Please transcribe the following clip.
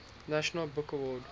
national book award